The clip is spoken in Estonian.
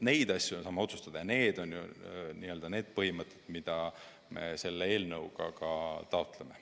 Neid asju me saame otsustada ja need on ju need põhimõtted, mida me selle eelnõuga taotleme.